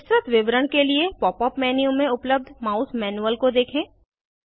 विस्तृत विवरण के लिए पॉप अप मेन्यू में उपलब्ध माउस मैनुअल को देखें